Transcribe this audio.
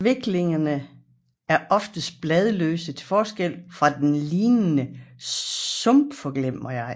Sviklerne er oftest bladløse til forskel fra den lignende sumpforglemmigej